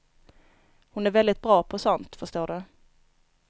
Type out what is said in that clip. Hon är väldigt bra på sånt, förstår du.